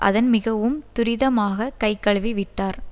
அதன் மிகவும் துரிதமாக கைகழுவி விட்டார்